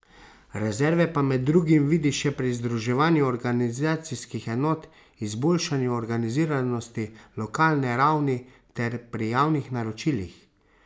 Rezerve pa med drugim vidi še pri združevanju organizacijskih enot, izboljšanju organiziranosti lokalne ravni ter pri javnih naročilih.